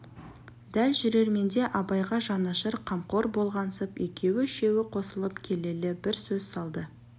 дәл жүрерменде абайға жанашыр қамқор болғансып екеу-үшеуі қосылып келелі бір сөз салды